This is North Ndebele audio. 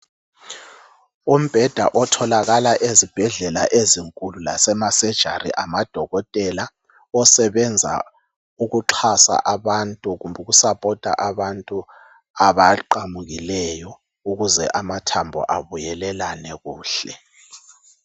Umbheda otholakala ezibhedlela ezinkulu lasema surgery amadokotela osebenza ukuxasa abantu kumbe ukusapota abantu abaqamukileyo ukuze amathambo abuyelelane kuhle.